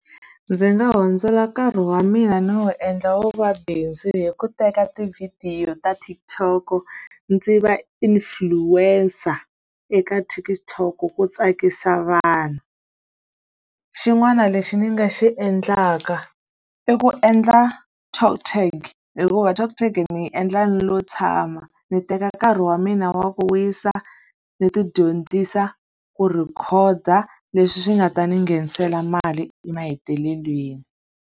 Ndzi nga hundzela nkarhi wa mina no wu endla wu va bindzu hi ku teka tivhidiyo ta TikTok-o, ndzi va influencer eka TikTok-o ku tsakisa vanhu. Xin'wana lexi ni nga xi endlaka i ku endla Talk Tag hikuva Talk Tag ni yi endla ni lo tshama. Ndzi teka nkarhi wa mina wa ku wisa ni ti dyondzisa ku rhikhoda, leswi swi nga ta ni nghenisela mali emahetelelweni.